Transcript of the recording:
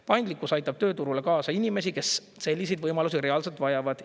Paindlikkus aitab tööturule kaasa inimesi, kes selliseid võimalusi reaalselt vajavad.